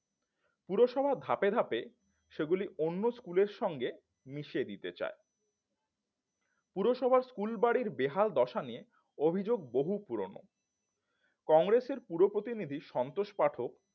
পুরসভা ধাপে ধাপে সেগুলি অন্য স্কুলের সঙ্গে মিশে দিতে চায় পুরসভার স্কুলবাড়ির বেহালদশা নিয়ে অভিযোগ বহু পুরানো কংগ্রেসের পুরো প্রতিনিধি সন্তোষ পাঠক